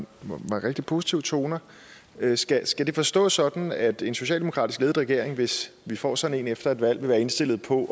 rigtig positive toner skal skal det forstås sådan at en socialdemokratisk ledet regering hvis vi får sådan en efter et valg vil være indstillet på